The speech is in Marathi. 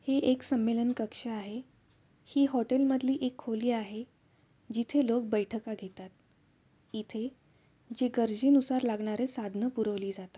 हे एक संमेलन कक्ष आहे. ही हॉटेल मधली एक खोली आहे जिथे लोक बैठका घेतात. इथे जे गरजेनुसार लागणारी साधन पुरवले जाता.